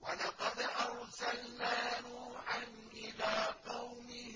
وَلَقَدْ أَرْسَلْنَا نُوحًا إِلَىٰ قَوْمِهِ